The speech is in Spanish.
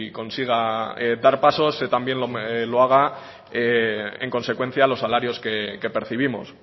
consiga dar pasos también lo haga en consecuencia los salarios que percibimos